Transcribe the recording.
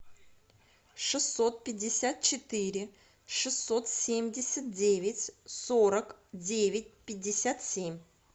шестьсот пятьдесят четыре шестьсот семьдесят девять сорок девять пятьдесят семь